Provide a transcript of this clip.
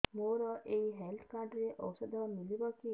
ମୋର ଏଇ health card ରେ ଔଷଧ ମିଳିବ କି